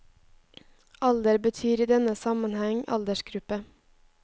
Alder betyr i denne sammenheng aldersgruppe.